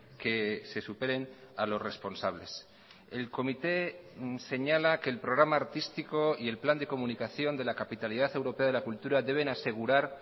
que se superen a los responsables el comité señala que el programa artístico y el plan de comunicación de la capitalidad europea de la cultura deben asegurar